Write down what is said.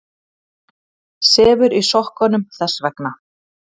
Sefur í sokkunum þess vegna.